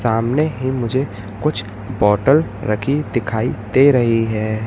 सामने ही मुझे कुछ बॉटल रखी दिखाई दे रही है।